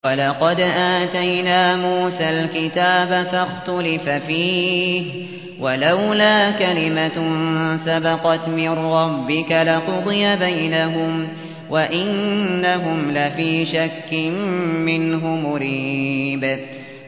وَلَقَدْ آتَيْنَا مُوسَى الْكِتَابَ فَاخْتُلِفَ فِيهِ ۗ وَلَوْلَا كَلِمَةٌ سَبَقَتْ مِن رَّبِّكَ لَقُضِيَ بَيْنَهُمْ ۚ وَإِنَّهُمْ لَفِي شَكٍّ مِّنْهُ مُرِيبٍ